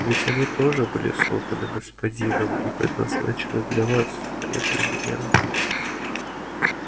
ведь они тоже были созданы господином и предназначены для вас а не для меня